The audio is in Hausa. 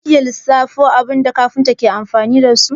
Za ki iya lissafo abubuwan da kafinta ke amfani dasu?